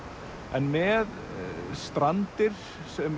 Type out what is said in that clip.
en með Strandir sem